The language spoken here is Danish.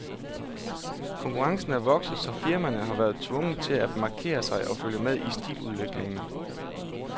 Konkurrencen er vokset, så firmaerne har været tvunget til at markere sig og følge med i stiludviklingen.